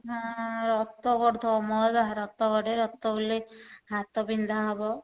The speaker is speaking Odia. ହଁ ରକ୍ତ ବଢୁଥିବ ମୋର ବା ରକ୍ତ ବଢେ ରକ୍ତ ବୁଲେ ହାତ ବିନ୍ଧା ହବ।